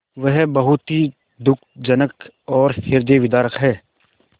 वह बहुत ही दुःखजनक और हृदयविदारक है